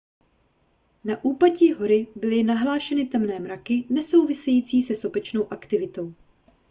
na úpatí hory byly nahlášeny temné mraky nesouvisející se sopečnou aktivitou